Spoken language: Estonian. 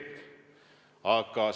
Mis te kostate?